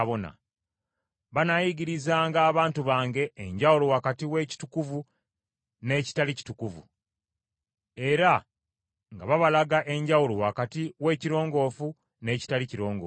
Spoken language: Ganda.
Banaayigirizanga abantu bange enjawulo wakati w’ekitukuvu n’ekitali kitukuvu, era nga babalaga enjawulo wakati w’ekirongoofu n’ekitali kirongoofu.